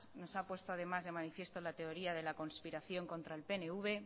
nos ha puesto de manifiesto la teoría de la conspiración contra el pnv